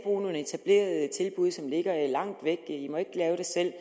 nogle etablerede tilbud som ligger langt væk i må ikke lave det selv